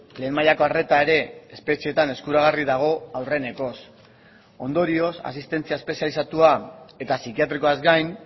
lehen mailako arreta ere espetxeetan eskuragarri dago aurrenekoz ondorioz asistentzia espezializatua eta psikiatrikoaz gain